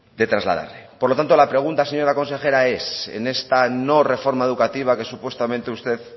de trasladar por lo tanto la pregunta señora consejera es en esta no reforma educativa que supuestamente usted